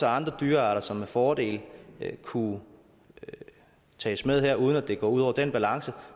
andre dyrearter som med fordel kunne tages med her uden at det går ud over den balance